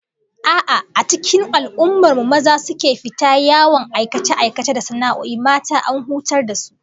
A'a, a cikin al'ummar mu maza su suke fita yawan aikace-aikace da sana'o'i, mata an hutar da su